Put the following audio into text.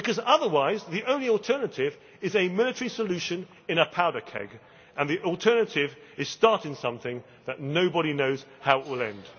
Otherwise the only alternative is a military solution in a powder keg, and the alternative is starting something that nobody knows how it will